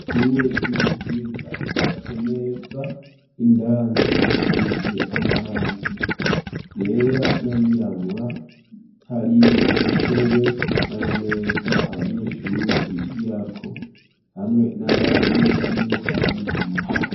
Ishure ry'ubuhinga ryubatswe neza, indani hasize amarangi yera nayirabura ,hariyo intebe n'amameza abanyeshure bigirako, hamwe n'abarimu barimwo barabigisha.